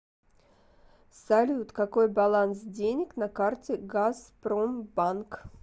салют какой баланс денег на карте газпромбанк